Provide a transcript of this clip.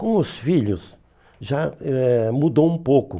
Com os filhos, já eh mudou um pouco.